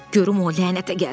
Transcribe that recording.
Görüm o lənətə gəlsin.